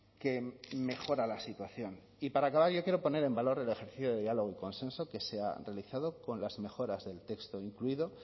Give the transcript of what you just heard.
que mejora la situación y para acabar yo quiero poner en valor el ejercicio de diálogo y consenso que se ha realizado con las mejoras del texto incluido